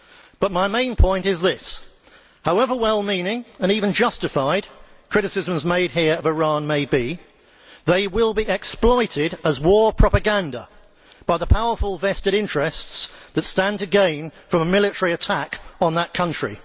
But my main point is this however well meaning, and even justified, criticisms of Iran made here may be, they will be exploited as war propaganda by the powerful vested interests that stand to gain from a military attack on that country.